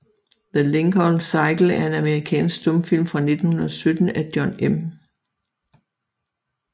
The Lincoln Cycle er en amerikansk stumfilm fra 1917 af John M